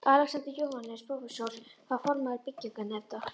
Alexander Jóhannesson, prófessor, var formaður byggingarnefndar